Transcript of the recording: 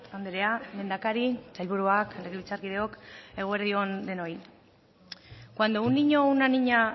andrea lehendakari sailburuak legebiltzarkideok eguerdi on denoi cuando un niño o una niña